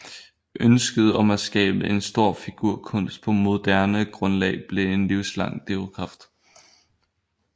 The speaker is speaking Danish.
Ønsket om at skabe en stor figurkunst på moderne grundlag blev en livslang drivkraft